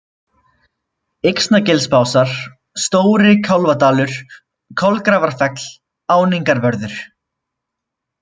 Yxnagilsbásar, Stóri-Kálfadalur, Kolgrafarfell, Áningarvörður